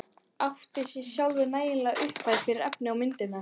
Átti sjálf nægilega upphæð fyrir efni í myndirnar.